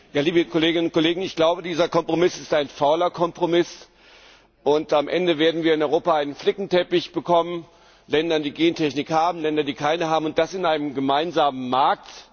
Frau Präsident, liebe Kolleginnen und Kollegen! Ich glaube, dieser Kompromiss ist ein fauler Kompromiss, und am Ende werden wir in Europa einen Flickenteppich bekommen Länder, die Gentechnik haben, Länder, die keine haben, und das in einem gemeinsamen Markt.